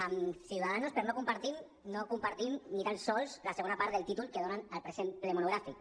amb ciudadanos per no compartir no compartim ni tan sols la segona part del títol que donen al present ple monogràfic